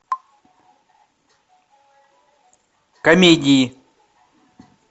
комедии